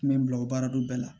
Mɛ n bila o baara dɔ bɛɛ la